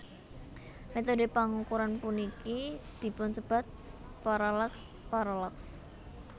Métodhe pangukuran puniki dipunsebat parallaks parallax